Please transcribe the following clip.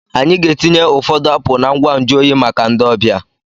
Anyị ga-etinye ụfọdụ apụl na ngwa nju oyi maka ndị ọbịa.